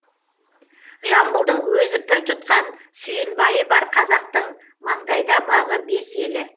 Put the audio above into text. жамбылдың өзі пір тұтқан сүйінбайы бар қазақтың маңдайда бағы бес елі